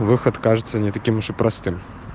выход кажется не таким уж и простым